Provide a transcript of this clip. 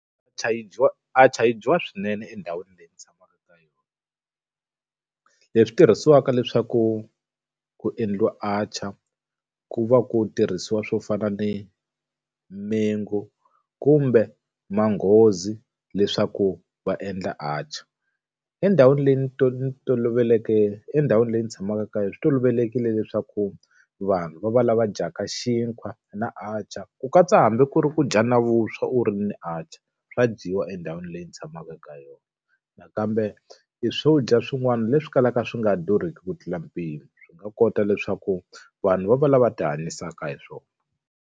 yi dyiwa atchar yi dyiwa swinene endhawini leyi ni tshamaka ka yona. Leswi tirhisiwaka leswaku ku endliwa atchar, ku va ku tirhisiwa swo fana ni mango kumbe manghozi leswaku va endla atchaar. Endhawini leyi ni ni toloveleke endhawini leyi ni tshamaka ka yona swi tolovelekile leswaku vanhu va valava dyaka xinkwa na atchar ku katsa hambi ku ri ku dya na vuswa u ri ni atchar, swa dyiwa endhawini leyi ni tshamaka ka yona. Nakambe i swo dya swin'wana leswi kalaka swi nga durhiki ku tlula mpimo, swi nga kota leswaku vanhu va valava ti hanyisaka hi swona.